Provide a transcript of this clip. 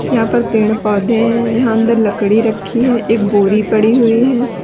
यहां पर पेड़ पौधे हैं यहां अंदर लकड़ी रखी है एक बोरी पड़ी हुई है।